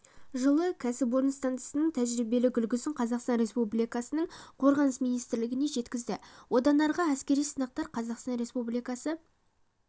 жылы кәсіпорын стансаның тәжірибелік үлгісін қазақстан республикасының қорғаныс министрлігіне жеткізді одан арғы әскери сынақтар қазақстан республикасы